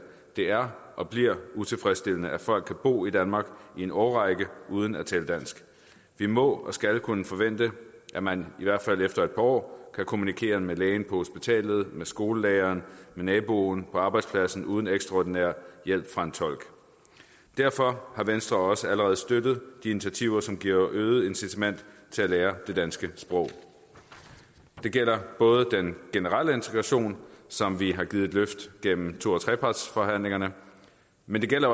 det er og bliver utilfredsstillende at folk kan bo i danmark i en årrække uden at tale dansk vi må og skal kunne forvente at man i hvert fald efter et par år kan kommunikere med lægen på hospitalet med skolelæreren med naboen og på arbejdspladsen uden ekstraordinær hjælp fra en tolk derfor har venstre også allerede støttet de initiativer som giver øget incitament til at lære det danske sprog det gælder både den generelle integration som vi har givet et løft gennem to og trepartsforhandlingerne men det gælder